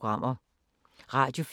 Radio24syv